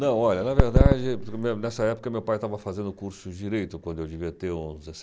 Não, olha, na verdade, primeiro nessa época meu pai estava fazendo curso de Direito, quando eu devia ter uns